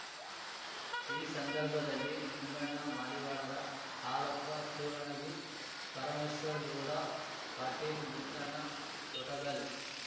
ಈ ಸಂದರ್ಭದಲ್ಲಿ ನಿಂಬಣ್ಣ ಮಡಿವಾಳರ ಹಾಲಪ್ಪ ಸೂರಣಗಿ ಪರಮೇಶ್ವರ್ ಗೌಡ ಪಾಟೀಲ್ ಮುತ್ತಣ್ಣ ತೊಟಗಲ್